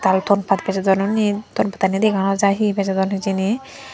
aro tonpat bejodon unni tonpattani dega no jai he bejodon hijeni.